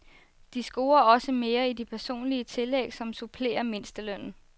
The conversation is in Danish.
De scorer også mere i de personlige tillæg, som supplerer mindstelønnen.